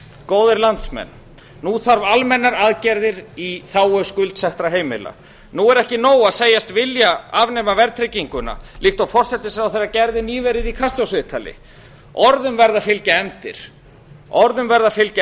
góðir landsmenn nú þarf almennar aðgerðir í þágu skuldsettra heimila nú er eða nóg að segjast vilja afnema verðtrygginguna líkt og forsætisráðherra gerði nýverið í kastljóssviðtali orðum verða að fylgja